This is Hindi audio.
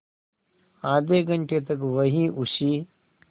आधे घंटे तक वहीं उसी